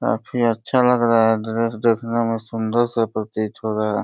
काफी अच्छा लग रहा है ड्रेस देखने में सुंदर सा प्रतीत हो रहा है।